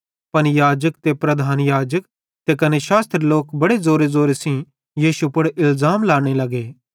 पन याजक ते प्रधान याजक ते कने शास्त्री लोक बड़े ज़ोरे शोरे सेइं यीशु पुड़ इलज़ाम लांने लगे